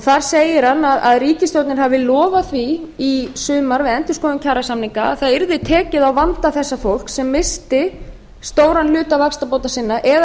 þar segir hann að ríkisstjórnin hafi lofað því í sumar við endurskoðun kjarasamninga að það yrði tekið á vanda þessa fólks sem missti stóran hluta vaxtabóta sinna eða